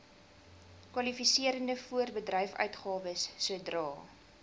kwalifiserende voorbedryfsuitgawes sodra